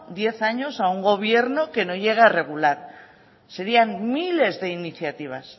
diez años a un gobierno que no llegue a regular serían miles de iniciativas